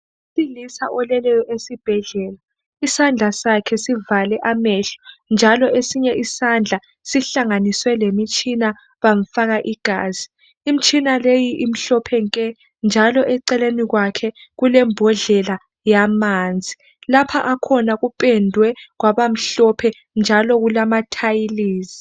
Owesilisa oleleyo esibhedlela isandla sakhe sivale amehlo njalo esinye isandla sihlanganiswe lemitshina bamfaka igazi. Imtshina leyi imhlophe nke njalo eceleni kwakhe kulembodlela yamanzi. Lapha akhona kupendwe kwabamhlophe njalo kulama thayilizi.